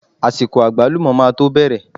Àsìkò àgbálùmọ́ máa to bẹ̀rẹ̀.